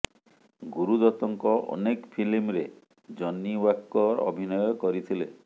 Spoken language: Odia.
ଗୁରୁ ଦତ୍ତଙ୍କ ଅନେକ ଫିଲ୍ମରେ ଜନି ୱାକର ଅଭିନୟ କରିଥିଲେ